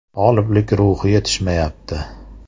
G‘oliblik ruhi yetishmayapti.